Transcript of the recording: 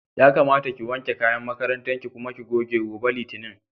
Yakamata ki wanke kayan makarantar ki kuma ki goge, gobe Litinin.